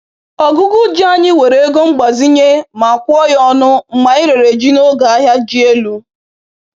Ọgụgụ ji anyị were ego mgbazinye ma kwụọ ya ọnụ mgbe anyị rere ji n’oge ahịa ji elu